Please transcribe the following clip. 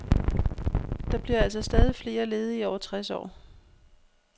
Der bliver altså stadig flere ledige over tres år.